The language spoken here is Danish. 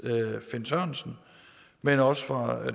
herre finn sørensen men også fra